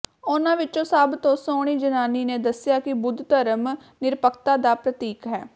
ਉਨ੍ਹਾਂ ਵਿੱਚੋਂ ਸਭ ਤੋਂ ਸੋਹਣੀ ਜ਼ਨਾਨੀ ਨੇ ਦੱਸਿਆ ਕਿ ਬੁੱਧ ਧਰਮ ਨਿਰਪੱਖਤਾ ਦਾ ਪ੍ਰਤੀਕ ਹੈ